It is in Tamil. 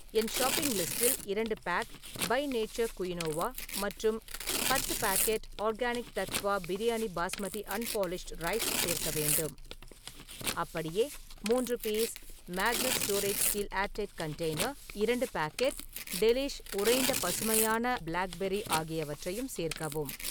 என் ஷாப்பிங் லிஸ்டில் இரண்டு பேக் பை நேச்சர் குயினோவா மற்றும் பத்து packet organic Tattva biryani basmati unpolished rice சேர்க்க வேண்டும். அப்படியே, மூன்று piece Magnus storage air tight steel container , இரண்டு பேக்கெட் டெலிஷ் உறைந்த பசுமையான பிளாக் பெர்ரி ஆகியவற்றையும் சேர்க்கவும்.